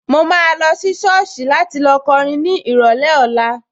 Mo máa lọ sí sọ́ọ̀sì láti lọ kọrin ní ìrọ̀lẹ́ ọ̀la